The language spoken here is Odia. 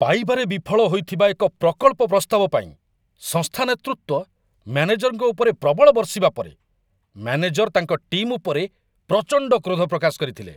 ପାଇବାରେ ବିଫଳ ହୋଇଥିବା ଏକ ପ୍ରକଳ୍ପ ପ୍ରସ୍ତାବ ପାଇଁ ସଂସ୍ଥା ନେତୃତ୍ୱ ମ୍ୟାନେଜରଙ୍କ ଉପରେ ପ୍ରବଳ ବର୍ଷିବା ପରେ ମ୍ୟାନେଜର ତାଙ୍କ ଟିମ୍ ଉପରେ ପ୍ରଚଣ୍ଡ କ୍ରୋଧ ପ୍ରକାଶ କରିଥିଲେ।